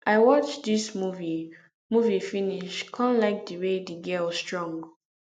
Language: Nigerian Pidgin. i watch dis movie movie finish come like the way the girl strong